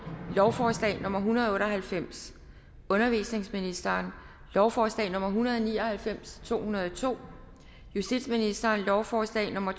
lovforslag nummer hundrede og otte og halvfems undervisningsministeren lovforslag nummer hundrede og ni og halvfems og to hundrede og to justitsministeren lovforslag nummer